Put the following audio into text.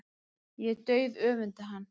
Ég dauðöfunda hann.